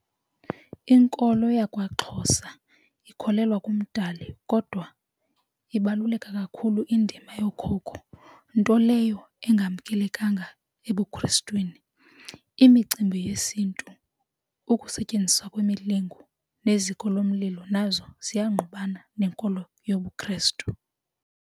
Inkolo yakwaXhosa ikholelwa kuMdali kodwa ibaluleke kakhulu indima yookhokho nto leyo engamkelekanga ebuKrestwini. Imicimbi yesiNtu ukusetyenziswa kwemilingo neziko lomlilo nazo ziyangqubana nenkolo yobuKrestu.